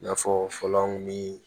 I n'a fɔ fɔlɔw ni